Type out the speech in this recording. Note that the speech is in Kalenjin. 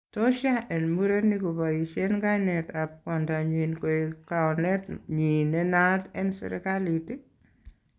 Tos yaa en murenik kobaisien kainet ab kwondonyin koek kaonet nyi nenaat en sirikalit?